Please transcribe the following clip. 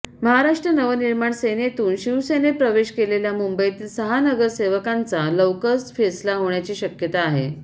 महाराष्ट्र नवनिर्माण सेनेतून शिवसेनेत प्रवेश केलेल्या मुंबईतील सहा नगरसेवकांचा लवकच फैसला होण्याची शक्यता आहे